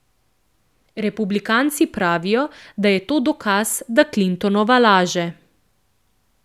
Republikanci pravijo, da je to dokaz, da Clintonova laže.